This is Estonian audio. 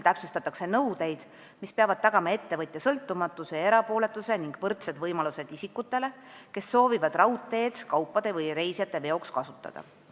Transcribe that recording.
Täpsustatakse nõudeid, mis peavad tagama ettevõtja sõltumatuse ja erapooletuse ning võrdsed võimalused isikutele, kes soovivad raudteed kaupade või reisijate veoks kasutada.